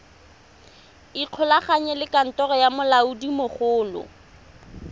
ikgolaganye le kantoro ya molaodimogolo